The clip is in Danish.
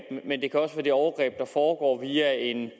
men det kan også være det overgreb der foregår via en